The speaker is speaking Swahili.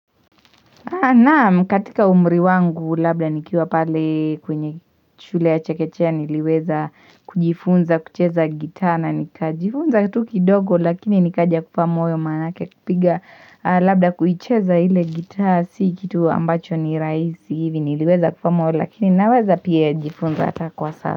Naam katika umri wangu labda nikiwa pale kwenye shule ya chekechea niliweza kujifunza kucheza gitaa na nikajifunza tu kitu kidogo lakini nikaja kufa moyo manake kipiga labda kuicheza ile gitaa si kitu ambacho ni rahisi hivi niliweza kufa moyo lakini naweza pia jifunza kwa sasa.